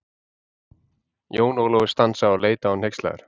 Jón Ólafur stansaði og leit á hann hneykslaður.